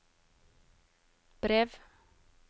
brev